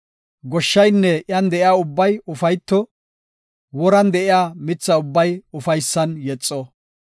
Goshshaynne iyan de7iya ubbay ufayto! Woran de7iya mitha ubbay ufaysan yexo.